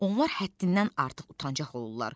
Onlar həddindən artıq utancaq olurlar.